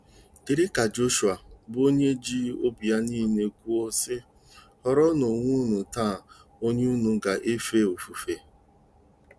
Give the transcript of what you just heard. Dịrị ka Jọshụa, bụ́ onye ji obi ya nile kwuo, sị: “ Họrọnụ onwe unu taa onye unu ga-efe ofufe...